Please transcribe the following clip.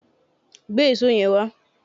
Gbé èṣó yẹn wá!